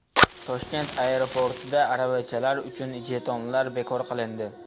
Toshkent aeroportida aravachalar uchun jetonlar bekor qilindi.